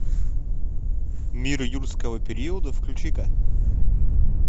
мир юрского периода включи ка